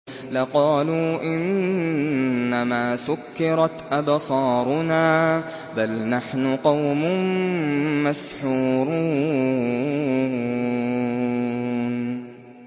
لَقَالُوا إِنَّمَا سُكِّرَتْ أَبْصَارُنَا بَلْ نَحْنُ قَوْمٌ مَّسْحُورُونَ